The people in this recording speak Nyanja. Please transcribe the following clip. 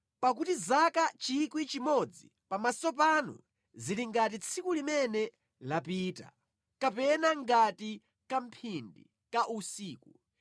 Pakuti zaka 1,000 pamaso panu zili ngati tsiku limene lapita kapena ngati kamphindi ka usiku.